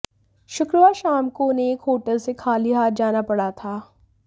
शुक्रवार शाम को उन्हें एक होटल से खाली हाथ जाना पड़ा था